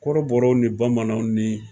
Kɔrɔbɔrɔw ni bamananw ni